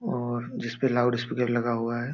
और जिस पे लाउड स्पीकर लगा हुआ है।